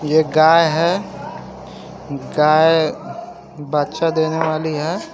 ये गाय है गाय बच्चा देने वाली है।